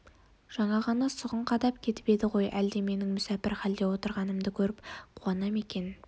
жаңа ғана сұғын қадап кетіп еді ғой әлде менің мүсәпір халде отырғанымды көріп қуана ма екен